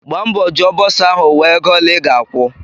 Gbaa mbọ jụọ bọsa ahụ wee ego ole I ga-akwu!